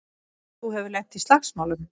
Þú hefur lent í slagsmálum!